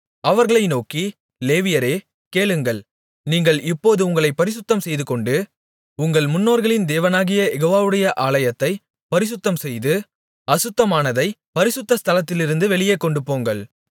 அவர்களை நோக்கி லேவியரே கேளுங்கள் நீங்கள் இப்போது உங்களைப் பரிசுத்தம் செய்துகொண்டு உங்கள் முன்னோர்களின் தேவனாகிய யெகோவாவுடைய ஆலயத்தைப் பரிசுத்தம்செய்து அசுத்தமானதைப் பரிசுத்த ஸ்தலத்திலிருந்து வெளியே கொண்டுபோங்கள்